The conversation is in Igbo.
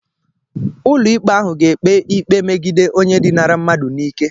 Ụlọikpe ahụ ga-ekpe ikpe megide onye dinara mmadu n'ike.